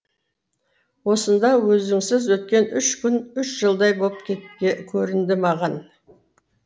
осында өзіңсіз өткен үш күн үш жылдай боп көрінді маған